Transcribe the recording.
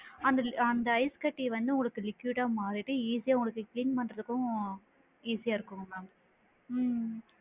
அந்த ஐஸ் அந்த ஐஸ்கட்டி வந்து உங்களுக்கு liquid டா மாறிட்டு easy யா உங்களுக்கு clean பண்றதுக்கும் easy யா இருக்கும் madam உம்